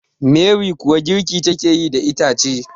Meri kuwa girki take yi da ita ce